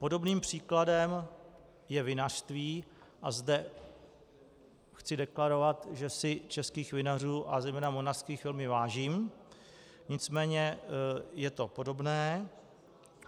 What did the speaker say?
Podobným příkladem je vinařství, a zde chci deklarovat, že si českých vinařů a zejména moravských velmi vážím, nicméně je to podobné.